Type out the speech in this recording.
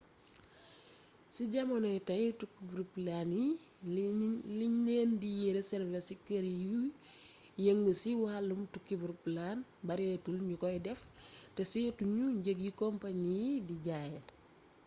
ci jamonoy tey tukkib roplaan yi liñ leen di reservé ci kër yuy yëngu ci wàllum tukkib roplaan bareetul ñu koy def te seetu ñu njëg yi companie yi di jaayee